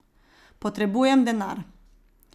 Potrebujem denar.